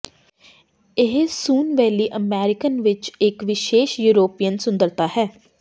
ਇਹ sun valley American ਵਿਚ ਇਕ ਵਿਸ਼ੇਸ਼ ਯੂਰਪੀਅਨ ਸੁੰਦਰਤਾ ਹੈ